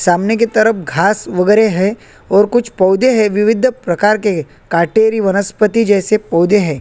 सामने की तरफ घास वगेरा है और कुछ पौधे है विविध प्रकार के कटेरी वनस्पति जैसे पौधे है।